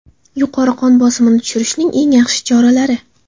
Yuqori qon bosimini tushirishning eng yaxshi choralari.